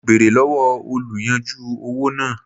Mo bèrè lọ́wọ́ oluyanju owó náà.